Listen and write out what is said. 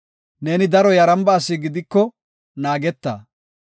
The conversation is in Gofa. Neeni daro yaramba asi gidiko naageta.